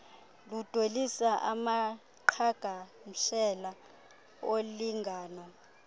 ludwelisa amaqhagamshela olingano